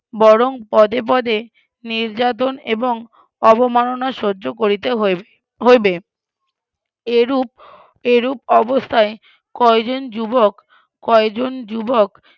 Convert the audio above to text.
বরং পদে পদে নির্যাতন এবং অবমাননা সহ্য করিতে হইবে, হইবে, এরূপ এরুপ অবস্থায় কয়জন যুবক কয়জন যুবক,